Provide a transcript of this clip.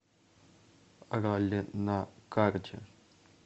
ралли на карте